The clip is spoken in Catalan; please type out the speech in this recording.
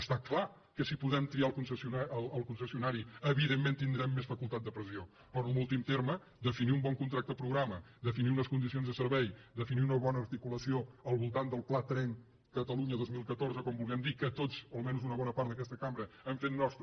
està clar que si podem triar el concessionari evidentment tindrem més facultat de pressió per en últim terme definir un bon contracte programa definir unes condicions de servei definir una bona articulació al voltant del pla tren catalunya dos mil catorze o com li vulguem dir que tots o almenys una bona part d’aquesta cambra hem fet nostre